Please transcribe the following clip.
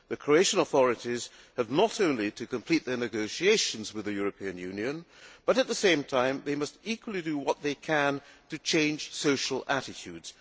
The Croatian authorities have not only to complete their negotiations with the European Union but, at the same time, they must also do what they can to change social attitudes.